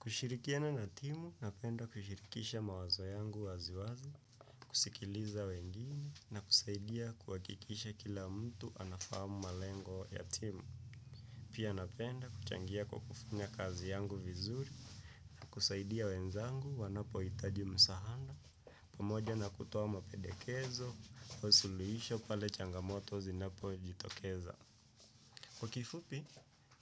Kushirikiana na timu, napenda kushirikisha mawazo yangu waziwazi, kusikiliza wengine, na kusaidia kuhakikisha kila mtu anafahamu malengo ya timu. Pia napenda kuchangia kwa kufanya kazi yangu vizuri, kusaidia wenzangu wanapohitaji msaada, pamoja na kutoa mapedekezo, au suluhisho pale changamoto zinapojitokeza. Kwa kifupi,